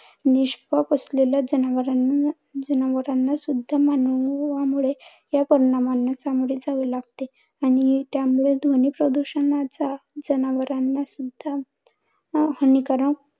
निष्पाप असणाऱ्या जनावरांना जनावरांना सुद्धा मानवामुळे या परिणामांना सामोरे जावे लागते. आणि त्यामुळे ध्वनी प्रदुषणाचा जनावरांना सुद्धा अं हानिकारक